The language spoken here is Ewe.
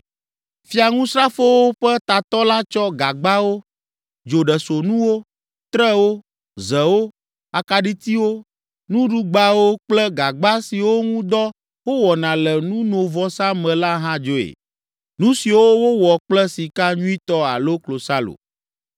Fiaŋusrafowo ƒe tatɔ la tsɔ gagbawo, dzoɖesonuwo, trewo, zewo, akaɖitiwo, nuɖugbawo kple gagba siwo ŋu dɔ wowɔna le nunovɔsa me la hã dzoe, nu siwo wowɔ kple sika nyuitɔ alo klosalo.